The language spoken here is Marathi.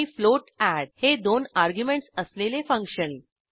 आणि फ्लोट एड हे दोन अर्ग्युमेंटस असलेले फंक्शन